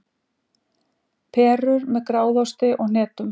Perur með gráðosti og hnetum